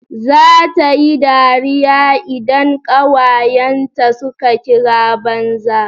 Za tayi dariya idan kawayen ta suka kira banza